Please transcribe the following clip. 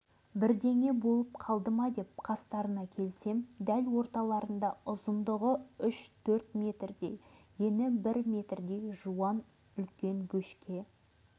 әлі есімде жылы мына жердегі атпен келе жатып шабындықта шөп шауып жүрген адамдарға кезіктім